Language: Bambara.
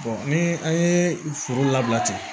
ni an ye foro labila ten